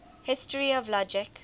history of logic